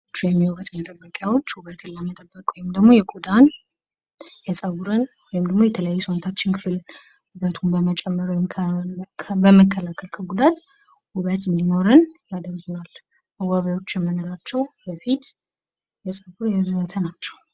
የውበት መጠበቂያዎች ውበትን ለመጠበቅ የቆዳን፣ የፀጉርን ወይም ደግሞ የተለያዩ የሰውን ክፍል ውበትን በመጨመር ውበትን በመጨመር ውብ እንድንሆን ያደርገናል ።